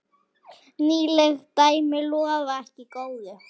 Nýleg dæmi lofa ekki góðu.